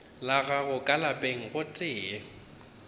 la gagwe ka lapeng gotee